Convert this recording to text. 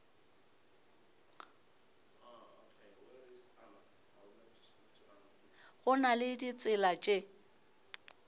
go na le ditsela tše